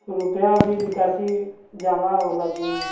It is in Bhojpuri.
रुपया भी निकासी जमा होला दुनु।